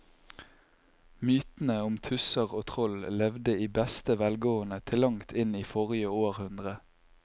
Mytene om tusser og troll levde i beste velgående til langt inn i forrige århundre.